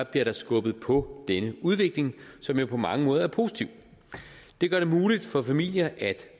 bliver der skubbet på denne udvikling som jo på mange måder er positiv det gør det muligt for familier at